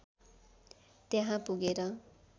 त्यहाँ पुगेर